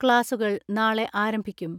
ക്ലാസുകൾ നാളെ ആരംഭിക്കും.